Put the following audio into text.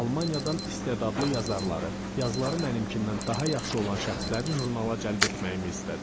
Almaniyadan istedadlı yazarları, yazıları mənimkindən daha yaxşı olan şəxsləri jurnala cəlb etməyi istədi.